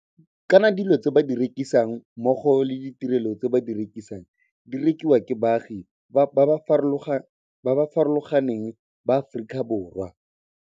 Kana dilo tse ba di rekisang mmogo le ditirelo tse ba di rekisang di rekiwa ke baagi ba ba farologa neng ba Aforika Borwa.